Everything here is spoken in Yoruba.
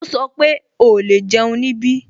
Ó sọ pé "o lè jẹun ní ibí"